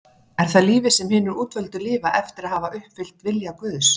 Er það lífið sem hinir útvöldu lifa eftir að hafa uppfyllt vilja Guðs?